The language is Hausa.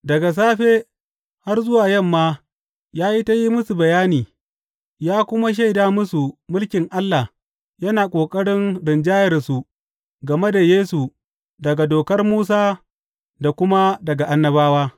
Daga safe har zuwa yamma ya yi ta yin musu bayani, ya kuma shaida musu mulkin Allah yana ƙoƙarin rinjayarsu game da Yesu daga Dokar Musa da kuma daga Annabawa.